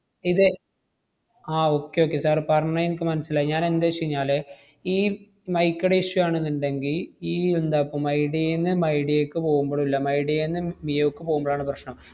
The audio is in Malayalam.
ഇത് ആഹ് okay okay sir പറഞ്ഞ എനിക്ക് മനസ്സിലായി. ഞാൻ എന്തെച്ചെഞ്ഞാല് ഈ mike ടെ issue ആണെന്നിണ്ടെങ്കി ഈ എന്താപ്പം മൈഡിയേന്ന് മൈഡിയേക്ക് പോവുമ്പളൂല്ല, മൈഡിയേന്ന് മിയോക്ക് പോവുമ്പഴാണ് പ്രശ്‌നം.